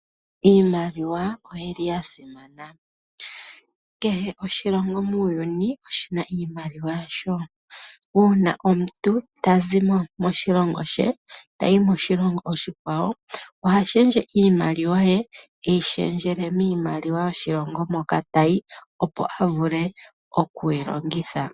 Iimaliwa oyi li ya simana. Kehe oshilongo muuyuni oshi na iimaliwa yasho. Uuna omuntu tazi moshilongo she tayi moshilongo oshikwawo oha shendje iimaliwa ye, teyi shendjele miimaliwa yoshilongo moka tayi, opo a vule oku yi longitha.